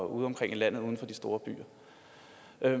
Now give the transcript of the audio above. udeomkring i landet uden for de store byer